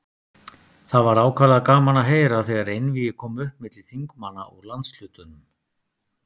Það var ákaflega gaman að heyra, þegar einvígi kom upp milli þingmanna úr landshlutunum.